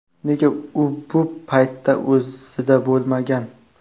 Negaki u bu paytda o‘zida bo‘lmagan.